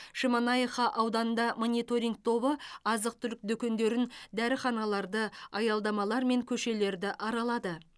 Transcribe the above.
шемонаиха ауданында мониторинг тобы азық түлік дүкендерін дәріханаларды аялдамалар мен көшелерді аралады